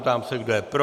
Ptám se, kdo je pro.